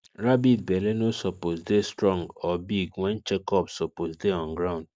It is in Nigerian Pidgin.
rabbit belle no suppose dey strong or big when check up suppose dey on ground